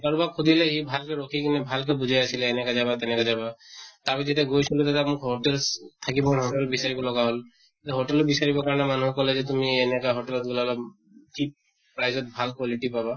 কাৰোবাক সুধিলে সি ভালকে ৰখি কিনে ভালকৈ বুজাই আছিলে এনেকা যাবা তেনেকা যাবা যেতিয়া গৈছো মই তেতিয়া মোক hotels থাকিব, বিচাৰিব লগা হʼল । hotel ও বিচাৰিব কাৰণে, মানুহে কʼলে যে তুমি এনেকা hotel ত মিলালে cheap prize ত ভাল quality পাবা ।